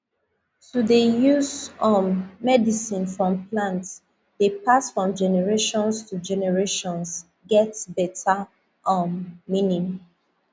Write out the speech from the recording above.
to dey use um medicine from plant dey pass from generations to generations get better um meaning